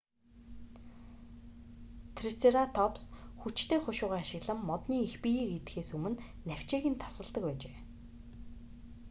трицератопс хүчтэй хушуугаа ашиглан модны их биеийг идэхээс өмнө навчийг нь тасалдаг байжээ